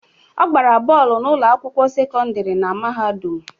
Ọ gbara bọọlụ na ụlọ akwụkwọ sekọndrị na mahadum